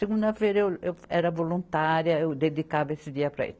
Segunda-feira eu, eu era voluntária, eu dedicava esse dia para isso.